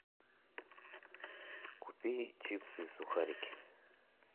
купи чипсы и сухарики